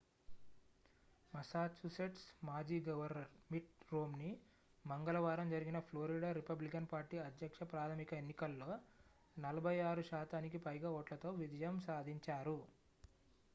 Massachusetts మాజీ governor Mitt Romney మంగళవారం జరిగిన ఫ్లోరిడా రిపబ్లికన్ పార్టీ అధ్యక్ష ప్రాధమిక ఎన్నికల్లో 46 శాతానికి పైగా ఓట్లతో విజయం సాధించారు